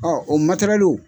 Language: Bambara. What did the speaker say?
o matɛrɛliw